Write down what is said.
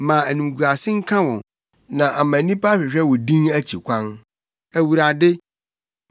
Ma animguase nka wɔn, na ama nnipa ahwehwɛ wo din akyi kwan, Awurade.